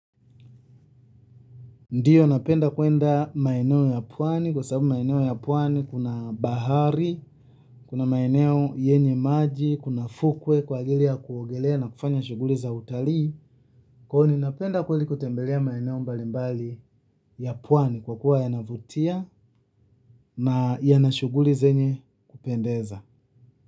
Ndio napenda kuenda maeneo ya pwani kwa sababu maeneo ya pwani kuna bahari, kuna maeneo yenye maji, kuna fukwe kwa ajili ya kuogelea na kufanya shughuli za utalii. Kwaivo ninapenda kweli kutembelea maeneo mbalimbali ya pwani kwa kuwa yanavutia na yana shughuli zenye kupendeza.